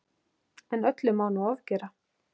En öllu má nú ofgera.